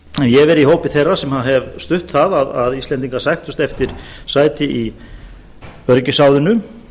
ég hef verið í hópi þeirra sem hafa stutt það að íslendingar sæktust eftir sæti í öryggisráðinu